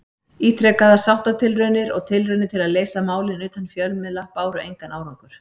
Ítrekaðar sáttatilraunir og tilraunir til að leysa málin utan fjölmiðla báru engan árangur.